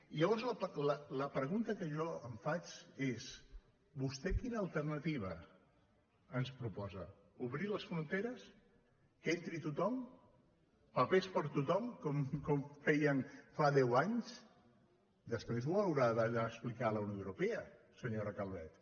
i llavors la pregunta que jo em faig és vostè quina alternativa ens proposa obrir les fron·teres que entri tothom papers per a tothom com feien fa deu anys després ho haurà d’anar a explicar a la unió europea senyora calvet